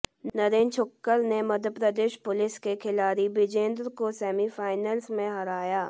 नरेंद्र छौक्कर ने मध्यप्रदेश पुलिस के खिलाड़ी बिजेंद्र को सेमीफाइनल में हराया